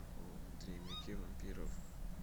дневники вампиров